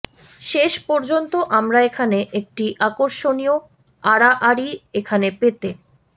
শেষ পর্যন্ত আমরা এখানে একটি আকর্ষণীয় আড়াআড়ি এখানে পেতে